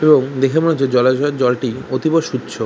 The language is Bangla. এবং দেখে মনে হচ্ছে জলাশয়ের জলটি অতীব সুচ্ছ।